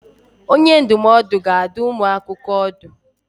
Onye ndụmọdụ ga-adụ ụmụ akwụkwọ ọdụ.